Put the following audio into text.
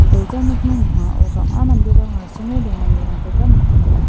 gilja nokni ning·ao bang·a manderang asonge donganirangkoba nikenga.